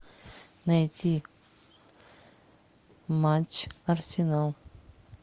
найти матч арсенал